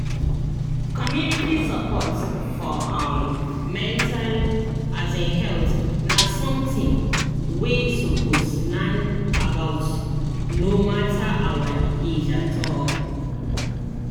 community support for um mental um health na something wey we suppose learn about no matter our age at all